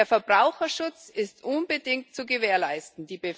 Der Verbraucherschutz ist unbedingt zu gewährleisten.